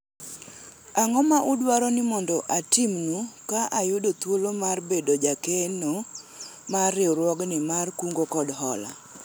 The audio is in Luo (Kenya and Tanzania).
ang'o ma udwaro ni mondo atimnu ka ayudo thuolo mar bedo jakeno mar riwruogni mar kungo kod hola ?